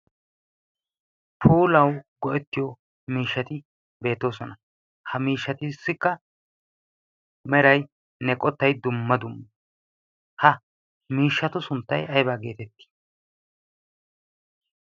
polau go'ettiyo miishshati beetoosona ha miishshatussikka meraynne qottay dumma dumu ha miishshatu sunttay aybaa geetettii